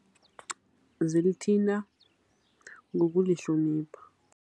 Zilithinta ngokulihlonipha.